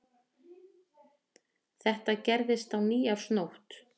Þetta gerðist á nýársnótt